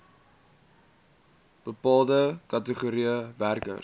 bepaalde kategorieë werkers